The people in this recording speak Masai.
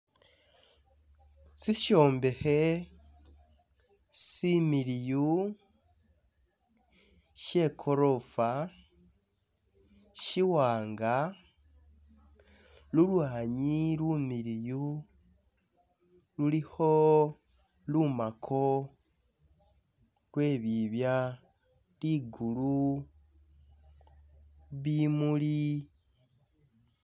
Sishombekhe similiyu she golofa shiwanga lulwanyi lumiliyu lulikho lumako lwe bibya ligulu bimuli